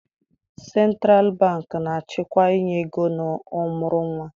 Sentralụ bankị na-achịkwa inye ego na ọmụrụ nwa.